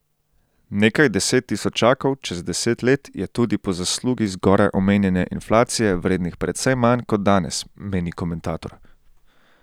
Nekaj deset tisočakov čez deset let je tudi po zaslugi zgoraj omenjene inflacije vrednih precej manj kot danes, meni komentator.